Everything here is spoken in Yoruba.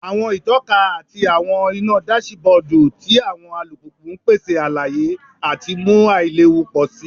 Awọn itọka ati awọn ina dasibodu ti awọn alupupu n pese alaye ati mu ailewu pọ si